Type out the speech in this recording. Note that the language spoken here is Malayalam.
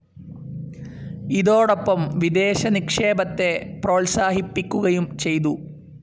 ഇതോടൊപ്പം വിദേശ നിക്ഷേപത്തെ പ്രോത്സാഹിപ്പിക്കുകയും ചെയ്തു.